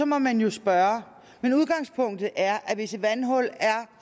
må man jo spørge men udgangspunktet er at hvis et vandhul er